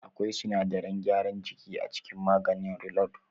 Akwai sinadaran gyaran jiki a cikin maganin reload.